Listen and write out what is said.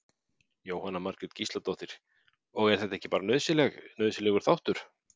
Jóhanna Margrét Gísladóttir: Og er þetta ekki bara nauðsynleg, nauðsynlegur þáttur?